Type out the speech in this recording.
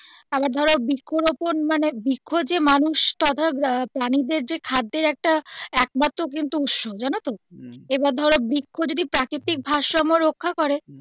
আবার ধরো বৃক্ষরোপন মানে বৃক্ষ যে মানুষ বা ধরো প্রাণী দের যে খাদ্যের একটা একমাত্র কিন্তু উৎস জানতো এবার ধরো বৃক্ষ যদি প্রাকৃতিক ভারসাম্য রক্ষা করে.